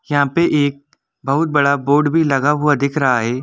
यहां पे एक बहुत बड़ा बोर्ड भी लगा हुआ दिख रहा है।